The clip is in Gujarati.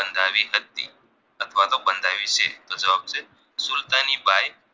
તો જવાબ છે સુલતાની બાઈ